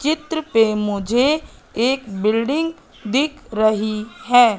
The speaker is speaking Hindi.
चित्र पे मुझे एक बिल्डिंग दिख रही हैं।